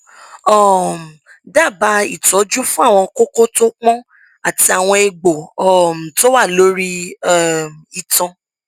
um dábàá ìtọjú fún àwọn kókó tó pọn àti àwọn egbò um tó wà lórí um itan